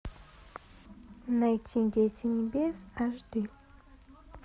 найти дети небес аш ди